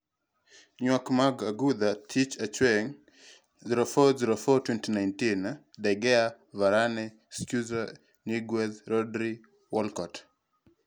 Ywak mag adhula, Tich Ang'wen 04.04.2019: De Gea, Varane, Schurrle, Niguez, Rodri, Walcott